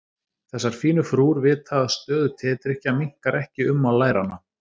Þessar fínu frúr vita að stöðug tedrykkja minnkar ekki ummál læranna.